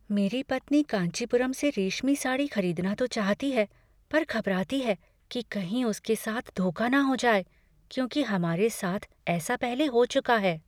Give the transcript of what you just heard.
मेरी पत्नी कांचीपुरम से रेशमी साड़ी खरीदना तो चाहती है पर घबराती है कि कहीं उसके साथ धोखा न हो जाए, क्योंकि हमारे साथ ऐसा पहले हो चुका है।